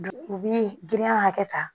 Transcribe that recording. U bi girinya hakɛ ta